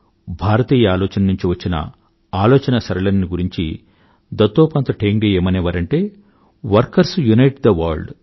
భారతీయ ఆలోచన నుండి వచ్చిన ఆలోచనాసరళిని గురించి దత్తోపంత్ ఠేంగ్డీ గారు ఏమనేవారంటే వర్కర్స్ యూనైట్ తే వర్ల్డ్